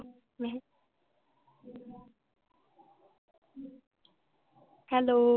hello